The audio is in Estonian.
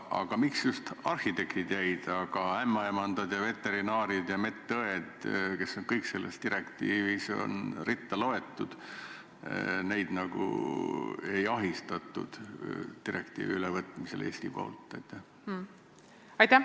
Aga miks just arhitektid sinna jäid, aga näiteks ämmaemandad, veterinaarid ja medõed, kes on kõik selles direktiivis üles loetud – neid direktiivi ülevõtmisel Eesti poolt ei ahistatud?